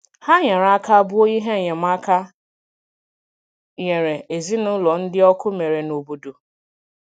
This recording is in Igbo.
Hà nyere aka bùo ihe enyemáka nyèrè ezinụlọ̀ ndị ọkụ mere n’obodo.